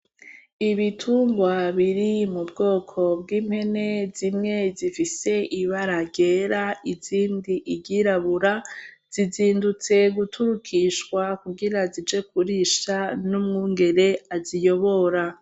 Ibitungwa biri mu bwoko bw'impene zimwe zifise ibara ryera izindi iryirabura zizindutse guturukishwa kugira zije kurisha n'umwungere aziyobora.